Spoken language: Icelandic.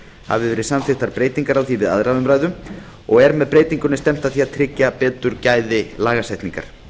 verið samþykktar breytingar á því við aðra umræðu með þessari breytingu er stefnt að því að tryggja betur gæði lagasetningar